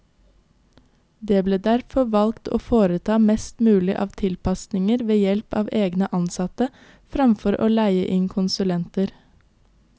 Det ble derfor valgt å foreta mest mulig av tilpasninger ved help av egne ansatte, fremfor å leie inn konsulenter.